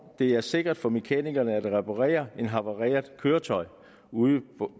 det er sikkert for mekanikeren at reparere et havareret køretøj ude